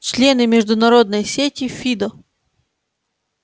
члены международной сети фидо